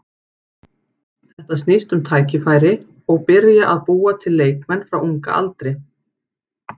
Þetta snýst um tækifæri og byrja að búa til leikmenn frá unga aldri.